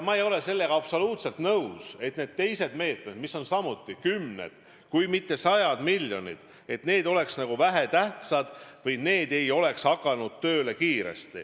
Ma ei ole absoluutselt nõus, et teised meetmed, milleks on samuti eraldatud kümned, kui mitte sajad miljonid, on vähetähtsad või et need ei ole kiiresti tööle hakanud.